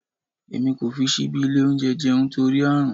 Èmi kò fi síbí ilé oúnjẹ jẹun torí Ààrùn.